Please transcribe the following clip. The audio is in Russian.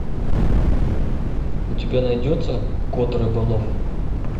у тебя найдется кот рыболов